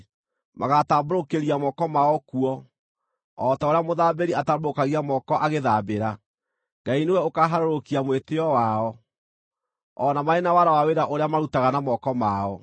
Magaatambũrũkĩria moko mao kuo, o ta ũrĩa mũthambĩri atambũrũkagia moko agĩĩthambĩra. Ngai nĩwe ũkaaharũrũkia mwĩtĩĩo wao, o na marĩ na wara wa wĩra ũrĩa marutaga na moko mao.